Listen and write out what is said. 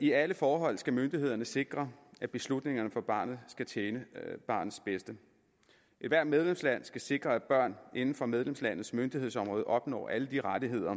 i alle forhold skal myndighederne sikre at beslutningerne for barnet tjener barnets bedste ethvert medlemsland skal sikre at børn inden for medlemslandets myndighedsområde opnår alle de rettigheder